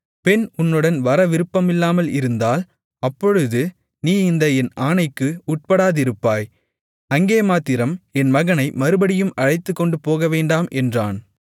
பெண் உன்னுடன் வர விருப்பமில்லாமல் இருந்தால் அப்பொழுது நீ இந்த என் ஆணைக்கு உட்படாதிருப்பாய் அங்கே மாத்திரம் என் மகனை மறுபடியும் அழைத்துக்கொண்டு போகவேண்டாம் என்றான்